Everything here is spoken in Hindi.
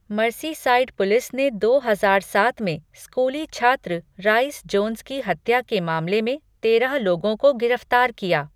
मर्सीसाइड पुलिस ने दो हजार सात में स्कूली छात्र राइस जोन्स की हत्या के मामले में तेरह लोगों को गिरफ्तार किया।